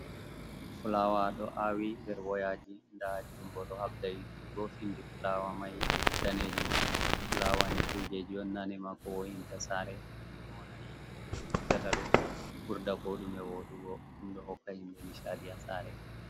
Fulaawa ɗo aawi nder wayaaji. Ndaa junngo ɗo haɓda ittugo, pinndi fulaawa may daneejum. Fulaawa ni kuujeji on naane ma koo wo''inta saare. Kannju on a yi jey o ittata ɗoo ɓurda koo ɗume woɗugo. Ɗum ɗo hokka himɓe ''nishaɗi'' haa saare.